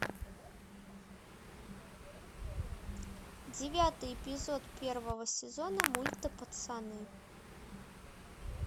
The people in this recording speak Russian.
девятый эпизод первого сезона мульта пацаны